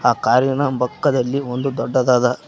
ಆ ಕಾರಿನ ಪಕ್ಕದಲ್ಲಿ ಒಂದು ದೊಡ್ಡದಾದ--